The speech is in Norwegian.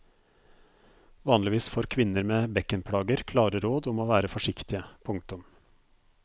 Vanligvis får kvinner med bekkenplager klare råd om å være forsiktige. punktum